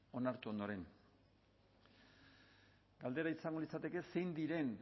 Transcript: onartu ondoren galdera izango litzateke zein diren